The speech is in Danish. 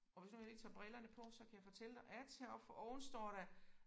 Og hvis jeg nu lige tager brillerne på så kan jeg fortælle dig at heroppe for oven står der